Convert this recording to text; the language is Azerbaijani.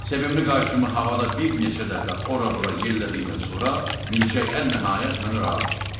Sevimli qayçımı havada bir neçə dəfə ora-bura yellədikdən sonra, milçək ən nəhayət məni rahat buraxdı.